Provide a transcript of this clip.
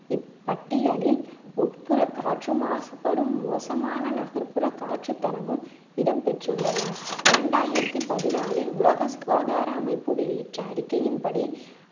இப்பட்டியலில் உட்புற காற்று மாசுபடும் மோசமான நகர்ப்புற காற்று தரமும் இடம்பெற்றுள்ளன இரண்டாயிரத்தி பதிநாலில் உலக சுகாதார அமைப்பு வெளியிட்ட அறிக்கையின் படி